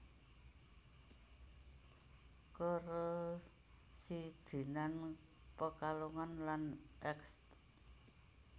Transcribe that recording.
Karesidenan Pekalongan lan Eks